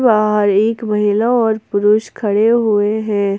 एक महिला और पुरुष खड़े हुए हैं।